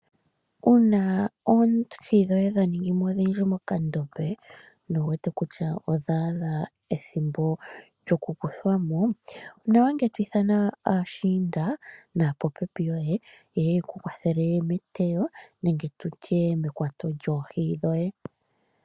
Uuna oohi dhoye dha ningi mo odhindji mokandombe nowu wete kutya odha adha ethimbo lyoku kuthwa mo, onawa ngele to ithana aashiinda naapopepi yoye, yeye yeku kwathele meteyo nenge tutye mekwato lyoohi dhoye.